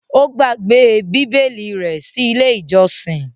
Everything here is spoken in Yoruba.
Ó gbàgbé Bíbélì rẹ̀ sí Ilé-ìjọsìn.